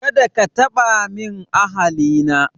Kada ka taba min ahali na